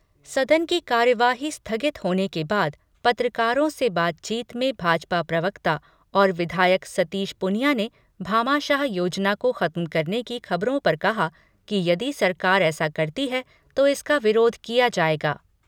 सदन की कार्यवाही स्थगित होने के बाद, पत्रकारों से बातचीत में भाजपा प्रवक्ता और विधायक सतीश पूनिया ने भामाशाह योजना को खत्म करने की खबरों पर कहा कि यदि सरकार ऐसा करती है तो इसका विरोध किया जाएगा।